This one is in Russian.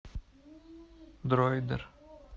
дроидер